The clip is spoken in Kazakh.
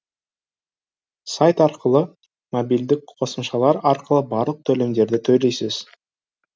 сайт арқылы мобильдік қосымшалар арқылы барлық төлемдерді төлейсіз